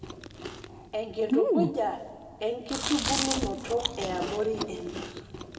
Eitukuja enkitubulunoto eabori ena